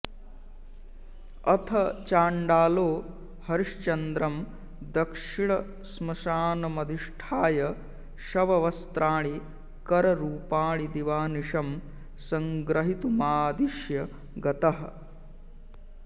अथ चाण्डालो हरिश्चन्द्रं दक्षिणश्मशानमधिष्ठाय शववस्त्राणि कररूपाणि दिवानिशं संग्रहीतुमादिश्य गतः